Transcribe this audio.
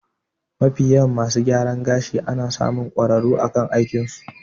Mafiyawa masu gyaran gashi ana samun kwararru akan aikin su